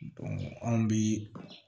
anw bi